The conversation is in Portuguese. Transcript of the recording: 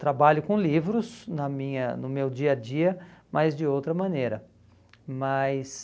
trabalho com livros na minha no meu dia a dia, mas de outra maneira. Mas